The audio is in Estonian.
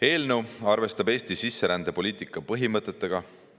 Eelnõu arvestab Eesti sisserändepoliitika põhimõtetega.